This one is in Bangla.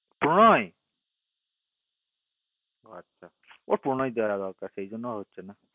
প্রণয় ও আচ্ছা প্রণয় সেই জন্য হচ্ছে না